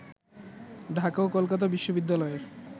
ঢাকা ও কলকাতা বিশ্ববিদ্যালয়ের